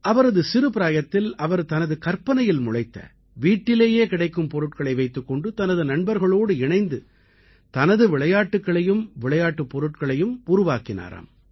அவரது சிறுபிராயத்தில் அவர் தனது கற்பனையில் முளைத்த வீட்டிலேயே கிடைக்கும் பொருட்களை வைத்துக் கொண்டு தனது நண்பர்களோடு இணைந்து தனது விளையாட்டுக்களையும் விளையாட்டுப் பொருட்களையும் உருவாக்கினாராம்